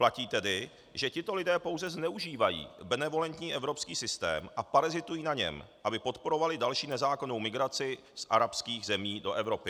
Platí tedy, že tito lidé pouze zneužívají benevolentní evropský systém a parazitují na něm, aby podporovali další nezákonnou migraci z arabských zemí do Evropy.